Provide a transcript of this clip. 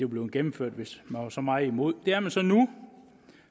blevet gennemført hvis man var så meget imod det er man så nu